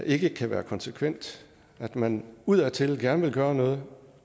ikke kan være konsekvent at man udadtil gerne vil gøre noget